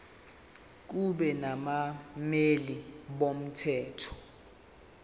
kube nabameli bomthetho